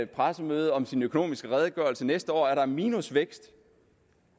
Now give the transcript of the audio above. pressemøde om sin økonomiske redegørelse næste år er der minusvækst